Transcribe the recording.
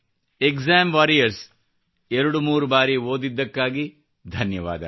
exam warriors ಎರಡು ಮೂರು ಬಾರಿ ಓದಿದ್ದಕ್ಕಾಗಿ ಧನ್ಯವಾದ